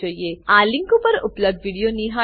આ લીંક પર ઉપલબ્ધ વિડીયો નિહાળો